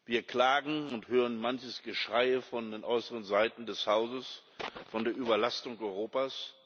Wir klagen und hören manches Geschreie von den äußeren Seiten des Hauses von der Überlastung Europas.